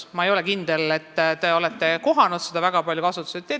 Ma ei ole kindel, kas te olete seda materjali koolides väga palju kohanud.